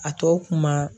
A tɔ kun ma